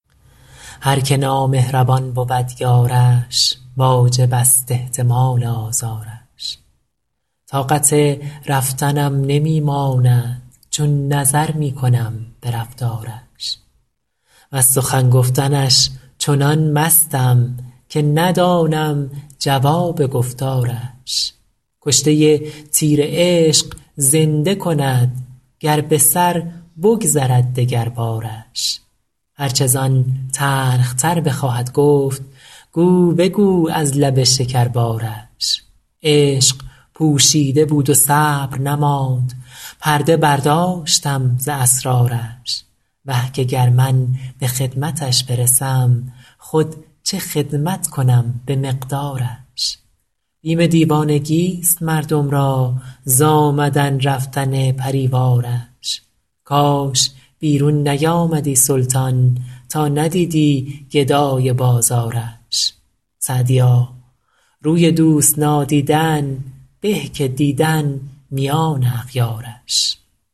هر که نامهربان بود یارش واجب است احتمال آزارش طاقت رفتنم نمی ماند چون نظر می کنم به رفتارش وز سخن گفتنش چنان مستم که ندانم جواب گفتارش کشته تیر عشق زنده کند گر به سر بگذرد دگربارش هر چه زان تلخ تر بخواهد گفت گو بگو از لب شکربارش عشق پوشیده بود و صبر نماند پرده برداشتم ز اسرارش وه که گر من به خدمتش برسم خود چه خدمت کنم به مقدارش بیم دیوانگیست مردم را ز آمدن رفتن پری وارش کاش بیرون نیامدی سلطان تا ندیدی گدای بازارش سعدیا روی دوست نادیدن به که دیدن میان اغیارش